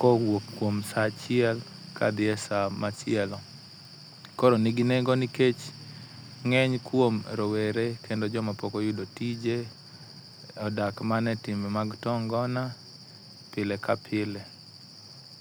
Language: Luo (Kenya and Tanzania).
kowuok kuom saa achiel kodhi e saa machielo. Eh koro en gi nengo nikech ng'eny kuom rowere kendo joma pok oyudo tije, odak mana e timbe mag too ngona pile ka pile.